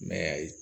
Mɛ ayi